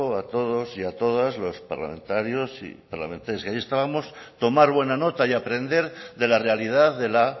a todos y a todas los parlamentarios y parlamentarias que ahí estábamos tomar buena nota y aprender de la realidad de la